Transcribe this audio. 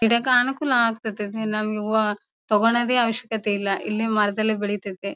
ಗಿಡಕ ಅನುಕೂಲ ಆಗತೈತೆ ನಮಗೆ ಹೂವ ತಗೋನಾದೆ ಅವಶ್ಯಕತೆ ಇಲ್ಲ ಇಲ್ಲೇ ಮರದಲ್ಲಿ ಬೆಳೀತೈತೆ.